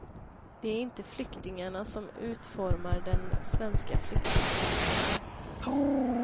Det är inte flyktingarna som utformar den svenska flyktingpolitiken.